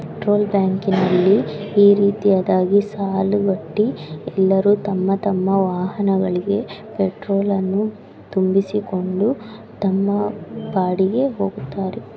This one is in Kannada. ಟ್ರೋಲ್ ಬ್ಯಾಂಕಿ ನಲ್ಲಿ ಈ ರೀತಿಯದಾಗಿ ಸಾಲು ಗಟ್ಟಿ ಎಲ್ಲರೂ ತಮ್ಮ ತಮ್ಮ ವಾಹಣಗಳಿಗೆ ಪೆಟ್ರೋಲ್‌ನ್ನು ತುಂಬಿಸಿಕೊಂಡು ತಮ್ಮ ಪಾಡಿಗೆ ಹೋಗುತ್ತಾರೆ.